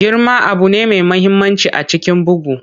Girman abu ne mai mahimmanci a cikin bugu.